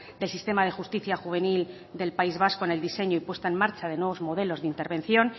del sistema de justicia juvenil del país vasco en el diseño y puesta en marcha de nuevos modelos de intervención